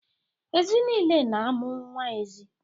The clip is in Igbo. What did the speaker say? Ezi nile na-amụ nwa ezi.